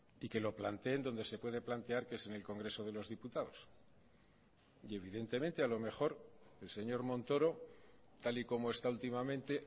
y que lo planteen donde se puede plantear que es en el congreso de los diputados y evidentemente a lo mejor el señor montoro tal y como está últimamente